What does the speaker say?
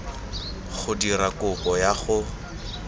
go dira kopo ya go